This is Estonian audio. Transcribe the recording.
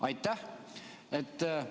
Aitäh!